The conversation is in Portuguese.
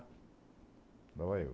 Lá vai eu.